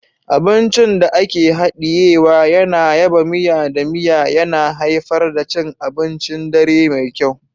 Abincin da ake hadiyewa yana yaba miya da miya, yana haifar da cin abincin dare mai kyau.